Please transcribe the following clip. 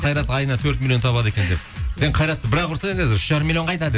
қайрат айына төрт миллион табады екен деп сен қайратты бір ақ ұрсай қазір үш жарым миллион қайда деп